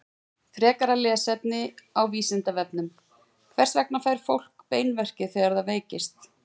Frekara lesefni á Vísindavefnum: Hvers vegna fær fólk beinverki þegar það veikist?